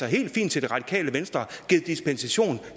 helt fint til det radikale venstre givet dispensation